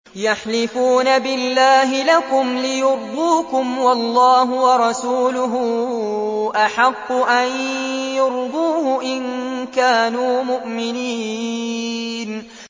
يَحْلِفُونَ بِاللَّهِ لَكُمْ لِيُرْضُوكُمْ وَاللَّهُ وَرَسُولُهُ أَحَقُّ أَن يُرْضُوهُ إِن كَانُوا مُؤْمِنِينَ